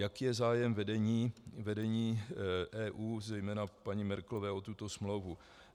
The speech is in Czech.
Jaký je zájem vedení EU, zejména paní Merkelové o tuto smlouvu?